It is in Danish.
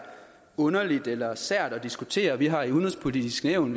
underligt eller sært at diskutere vi har i udenrigspolitisk nævn